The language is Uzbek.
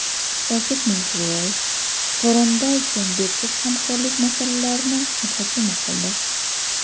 Shavkat Mirziyoyev va Sooronbay Jeenbekov hamkorlik masalalarini muhokama qildi.